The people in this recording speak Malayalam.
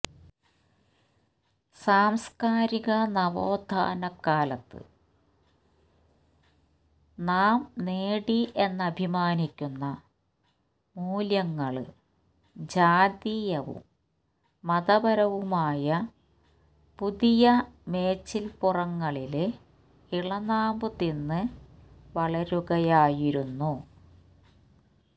സാംസ്കാരിക നവോത്ഥാനകാലത്ത് നാം നേടി എന്നഭിമാനിക്കുന്ന മൂല്യങ്ങള് ജാതീയവും മതപരവുമായ പുതിയ മേച്ചില്പ്പുറങ്ങളില് ഇളനാമ്പു തിന്ന് വളരുകയായിരുന്നു